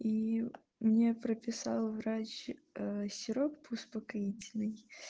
и мне прописал врач сироп успокоительный